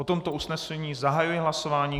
O tomto usnesení zahajuji hlasování.